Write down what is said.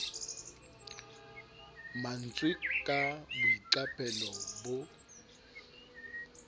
ma ntswe ka boiqapelo bo